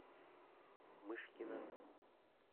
мышкина